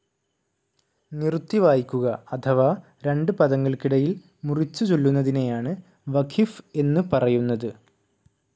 നിറുത്തി വായിക്കുക അഥവാ രണ്ട് പദങ്ങൾക്കിടയിൽ മുറിച്ചു ചൊല്ലുന്നതിനെയാണ് വഖിഫ് എന്നു പറയുന്നത്.